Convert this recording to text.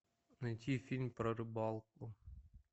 найти фильм про рыбалку